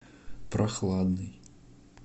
прохладный